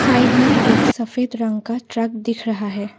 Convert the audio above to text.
Side में एक सफेद रंग का ट्रक दिख रहा है।